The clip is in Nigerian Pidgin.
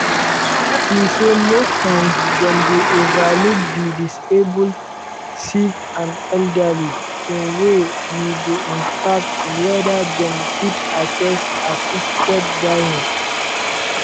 e say most times dem dey overlook di disabled sick and elderly in way we go impact weda dem fit access assisted dying.